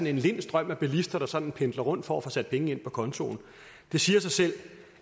en lind strøm af bilister der sådan pendler rundt for at få sat penge ind på kontoen det siger sig selv